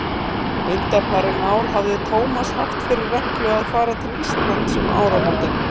Undanfarin ár hafði Tómas haft fyrir reglu að fara til Íslands um áramótin.